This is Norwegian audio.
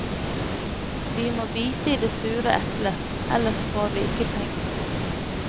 Vi må bite i det sure eplet, ellers får vi ikke penger.